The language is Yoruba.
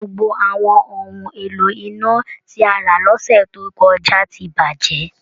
Gbogbo àwọn ohun èlò iná tí a rà lọ́sẹ̀ tó kọjá ti bàjẹ́